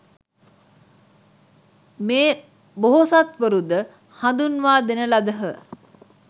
මේ බෝසත්වරු ද හඳුන්වා දෙන ලදහ.